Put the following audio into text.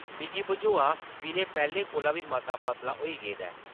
मिगी बझोआ विनय पैह्लें कोला बी मता पतला होई गेदा ऐ ।